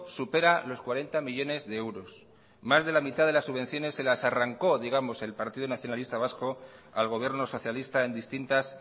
supera los cuarenta millónes de euros más de la mitad de las subvenciones se las arrancó digamos el partido nacionalista vasco al gobierno socialista en distintas